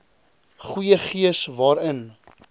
goeie gees waarin